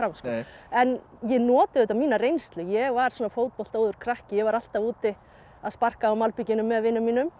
en ég nota auðvitað mína reynslu ég var svona fótboltaóður krakki ég var alltaf úti að sparka á malbikinu með vinum mínum